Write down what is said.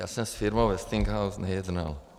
Já jsem s firmou Westinghouse nejednal.